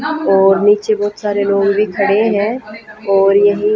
और नीचे बहोत सारे लोग भी खडे़ है और यही--